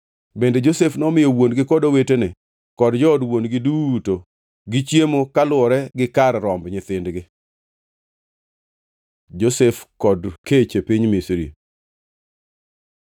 Bende Josef nomiyo wuon-gi kod owetene kod jood wuon-gi duto gi chiemo kaluwore gi kar romb nyithindgi. Josef kod kech e piny Misri